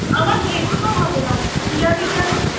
কি জানি কেমন